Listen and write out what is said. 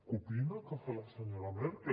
copiïn el que fa la senyora merkel